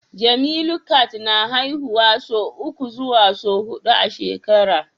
Jemilu cat na haihuwa sau uku zuwa hudu a shekara